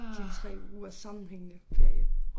Det 3 ugers sammenhængende ferie